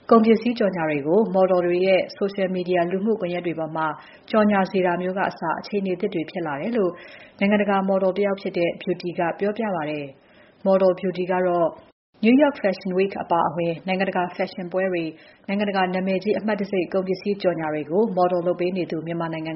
ကုန်ပစ္စည်းကြော်ငြာတွေကို မော်ဒလ်တွေရဲ့ လူမှုကွန်ယက်တွေပေါ်မှာ ကြော်ငြာစေတာမျိုးတွေ ဖြစ်လာတယ်လို့ နိုင်ငံတကာဖက်ရှင်မော်ဒလ် Beauty ကပြောပါတယ်။ New York Fashion Week အပါအဝင် နိုင်ငံတကာ ဖက်ရှင်ပွဲတွေ၊ နိုင်ငံတကာ နာမည်ကြီးအမှတ်တံဆိပ် ကုန်ပစ္စည်းကြော်ငြာတွေအတွက် Model လုပ်နေသူ မြန်မာနိုင်ငံ